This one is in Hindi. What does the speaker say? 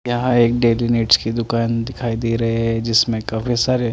यहाँ एक डेडिनेट्स की दुकान दिखाई दे रहे है जिसमे काफी सारे--